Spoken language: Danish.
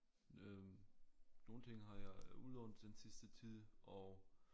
Øh nogle ting har jeg udlånt den sidste tid og